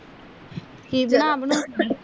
ਕਿ ਬਣਾ ਬਣਾ ਅੱਖਗੀ